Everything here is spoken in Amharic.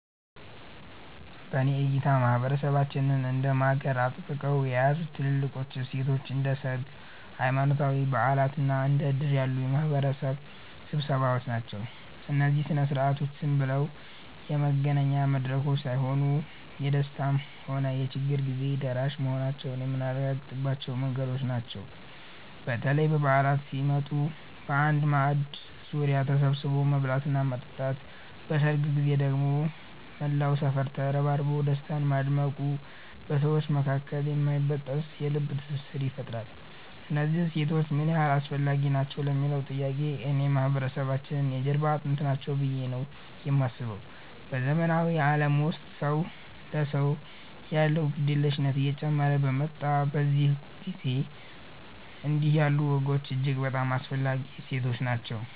በእኔ እይታ ማህበረሰባችንን እንደ ማገር አጥብቀው የያዙት ትልልቆቹ እሴቶቻችን እንደ ሰርግ፣ ሃይማኖታዊ በዓላት እና እንደ ዕድር ያሉ የማህበረሰብ ስብሰባዎች ናቸው። እነዚህ ሥነ ሥርዓቶች ዝም ብለው የመገናኛ መድረኮች ሳይሆኑ፣ የደስታም ሆነ የችግር ጊዜ ደራሽ መሆናችንን የምናረጋግጥባቸው መንገዶች ናቸው። በተለይ በዓላት ሲመጡ በአንድ ማዕድ ዙሪያ ተሰብስቦ መብላትና መጠጣት፣ በሰርግ ጊዜ ደግሞ መላው ሰፈር ተረባርቦ ደስታን ማድመቁ በሰዎች መካከል የማይበጠስ የልብ ትስስር ይፈጥራል። እነዚህ እሴቶች ምን ያህል አስፈላጊ ናቸው ለሚለዉ ጥያቄ፣ እኔ የማህበረሰባችን የጀርባ አጥንት ናቸው ብዬ ነው የማስበው። በዘመናዊው ዓለም ውስጥ ሰው ለሰው ያለው ግድየለሽነት እየጨመረ በመጣበት በዚህ ጊዜ፣ እንዲህ ያሉ ወጎች እጅግ በጣም አስፈላጊ እሴቶች ናቸው።